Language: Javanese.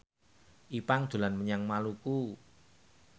Ipank dolan menyang Maluku